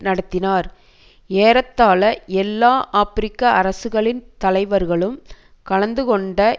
நடத்தினார் ஏறத்தாழ எல்லா ஆப்பிரிக்க அரசுகளின் தலைவர்களும் கலந்து கொண்ட